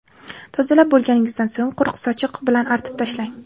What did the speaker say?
Tozalab bo‘lganingizdan so‘ng quruq sochiq bilan artib tashlang.